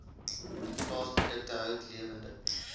plaasprodukte hout lewende